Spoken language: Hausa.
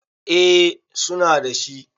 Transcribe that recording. eh suna da shi